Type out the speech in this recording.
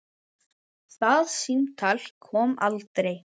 Það símtal kom aldrei.